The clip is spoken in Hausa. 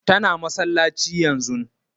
Ta na masallaci yanzun